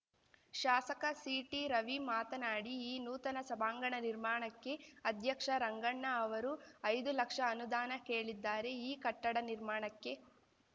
ಶಾಸಕ ಸಿಟಿರವಿ ಮಾತನಾಡಿ ಈ ನೂತನ ಸಭಾಂಗಣ ನಿರ್ಮಾಣಕ್ಕೆ ಅಧ್ಯಕ್ಷ ರಂಗಣ್ಣ ಅವರು ಐದು ಲಕ್ಷ ಅನುದಾನ ಕೇಳಿದ್ದಾರೆ ಈ ಕಟ್ಟಡ ನಿರ್ಮಾಣಕ್ಕೆ